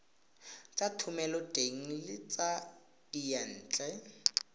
tsa thomeloteng le tsa diyantle